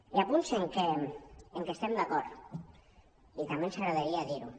hi ha punts en què estem d’acord i també ens agradaria dir·ho